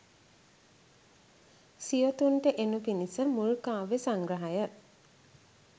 සියොතුන්ට එනු පිණිස මුල් කාව්‍ය සංග්‍රහය